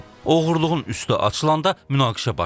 Oğurluğun üstü açılanda münaqişə baş verib.